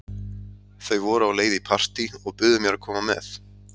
Þau voru á leið í partí og buðu mér að koma með.